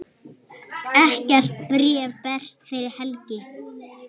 Ekkert bréf berst fyrir helgi.